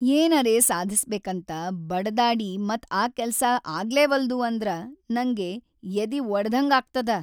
ಏನರೆ ಸಾಧಸ್ಬೇಕಂತ ಬಡದಾಡಿ ಮತ್ ಆ ಕೆಲ್ಸ ಆಗ್ಲೇವಲ್ದು ಅಂದ್ರ ನಂಗ್ ಎದಿವಡದ್ಹಂಗಾಗ್ತದ.